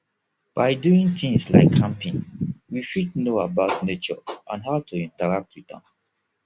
by doing things like camping we fit know about nature and how to interact with am